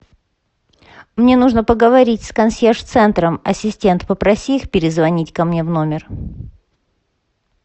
мне нужно поговорить с консьерж центром ассистент попроси их перезвонить ко мне в номер